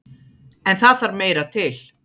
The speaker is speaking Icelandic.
En það þarf meira til.